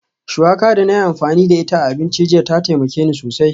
Shuwaka da na yi amfani da ita a abinci jiya ta taimaka min sosai